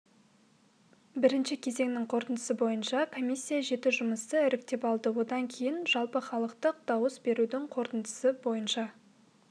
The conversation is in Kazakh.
бірінші кезеңнің қорытындысы бойынша комиссия жеті жұмысты іріктеп алды одан кейін жалпыхалықтық дауыс берудің қорытындысы бойынша